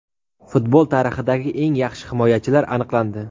Futbol tarixidagi eng yaxshi himoyachilar aniqlandi.